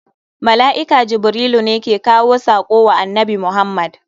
Mala'ika Jibrilu ne ke kawo sako wa annabi Muhammad.